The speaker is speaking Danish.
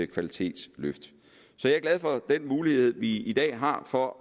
kvalitetsløft så jeg er glad for den mulighed vi i dag har for